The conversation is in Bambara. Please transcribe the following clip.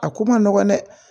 A ko man nɔgɔn dɛ